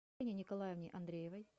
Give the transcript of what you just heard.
елене николаевне андреевой